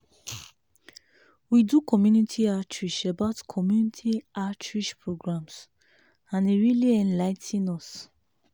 we do community outreach about community outreach programs and e really enligh ten us.